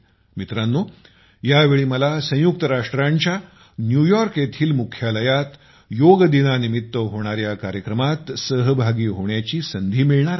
मित्रांनो यावेळेस मला संयुक्त राष्ट्रांच्या न्युयॉर्क येथील मुख्यालयात योग दिनानिमित्त होणाऱ्या कार्यक्रमात सहभागी होण्याची संधी मिळणार आहे